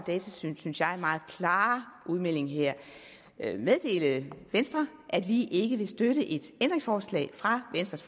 datatilsynets synes jeg meget meget klare udmelding her meddele venstre at vi ikke vil støtte et ændringsforslag fra venstres